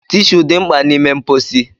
Tishuu dị mkpa n'ime mposi.